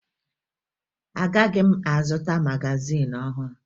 Agaghị m azụta magazin ọhụrụ